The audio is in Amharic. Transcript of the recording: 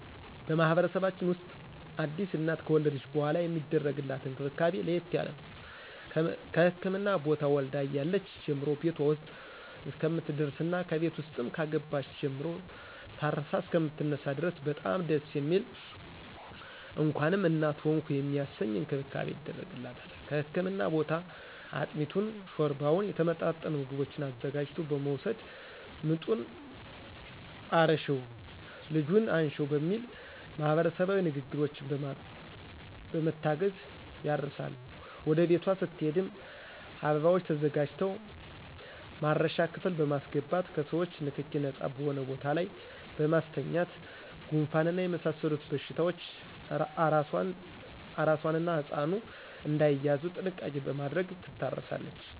በማህበረሰባችን ውስጥ አዲስ እናት ከወለደች በሗላ የሚደረግላት እንክብካቤ ለየት ያለ ነው። ከህክምና ቦታ ወልዳ እያለች ጀምሮ ቤቷ ውስጥ እስከምትደርስና ከቤት ውስጥም ከገባች ጀምሮ ታርሳ እሰከምትነሳ ድረስ በጣም ደስ የሚል እንኳንም እናት ሆንሁ የሚያሰኝ እንክብካቤ ይደረግላታል ከህክምና ቦታ አጥሚቱን: ሾርባውና የተመጣጠኑ ምግቦችን አዘጋጅቶ በመወሰድ ምጡን እርሽው ልጁን አንሽው በሚል ማህበረሰባዊ ንግግሮች በመታገዝ ያርሳሉ ወደ ቤቷ ስትሄድም አበባዎች ተዘጋጅተው ማረሻ ክፍል በማሰገባት ከሰዎቾ ንክኪ ነጻ በሆነ ቦታ ላይ በማስተኛት ጉንፋንና የመሳሰሉት በሽታዎች አራሷና ህጻኑ እዳይያዙ ጥንቃቄ በማድረግ ትታረሳለች።